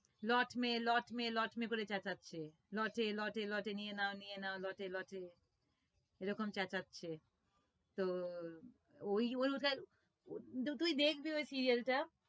লট মে লট মে লট মে করে চেচ্ছাছে লটে লটে লটে নিয়ে নাও নিয়ে নাও লটে লটে এরকম চেচাচ্ছে তো ওই তুই দেখবি ওই serial টা